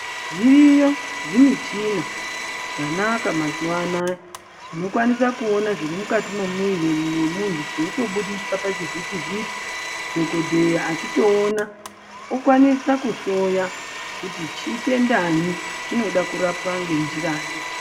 Zviriyo zvimichina zvanaka mazuvaanaya zvinokwanisa kuona zviri mukati mwemuviri memuntu zvichitobuditsa pachivhiti vhiti dhokodheya achitoona okwanisa kuhloya kuti chitendanyi chinoda kurapwa ngenjiranyi.